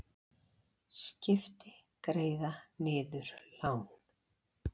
Skipti greiða niður lán